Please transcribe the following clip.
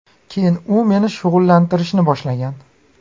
Keyin u meni shug‘ullantirishni boshlagan”.